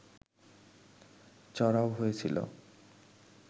চড়াও হয়েছিল